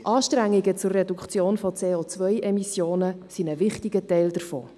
Anstrengungen zur Reduktion von CO-Emissionen sind ein wichtiger Teil davon.